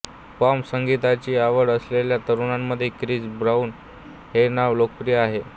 pop संगीताची आवड असलेल्या तरुणांमध्ये क्रिस ब्राऊन हे नाव लोकप्रिय आहे